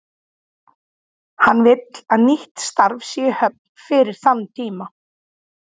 Hann vill að nýtt starf sé í höfn fyrir þann tíma.